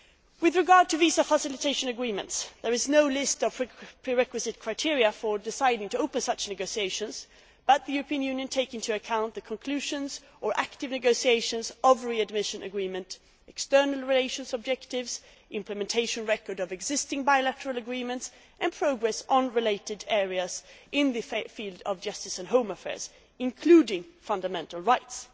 With regard to visa facilitation agreements, no list of prerequisite criteria for deciding to open such negotiations exists, but the European Union takes into account the conclusion of, or active negotiations on, readmission agreements, external relations objectives, implementation records of existing bilateral agreements and progress on related areas in the field of justice and home affairs including fundamental rights.